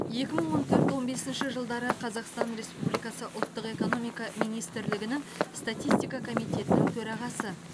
екі мың он төрт он бесінші жылдары қазақстан республикасы ұлттық экономика министрлігінің статистика комитетінің төрағасы